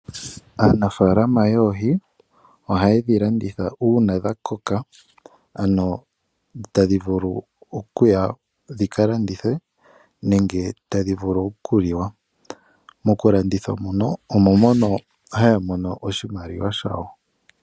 Aanafalama yoohi ohaye dhi landitha una dha koka, ano tadhi vulu okuya dhika landithwe, nenge tadhi vulu okuliwa. Mokulanditha omo haya mono oshimaliwa shawo.